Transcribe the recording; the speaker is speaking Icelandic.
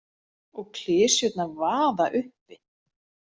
Og klisjurnar vaða uppi.